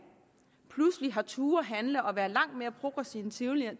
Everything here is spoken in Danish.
pludselig har turdet handle og være langt mere progressiv end tidligere og